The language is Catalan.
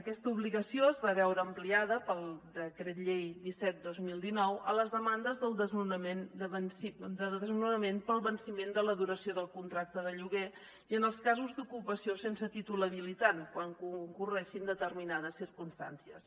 aquesta obligació es va veure ampliada pel decret llei disset dos mil dinou a les demandes del desnonament pel venciment de la duració del contracte de lloguer i en els casos d’ocupació sense títol habilitant quan concorreguessin determinades circumstàncies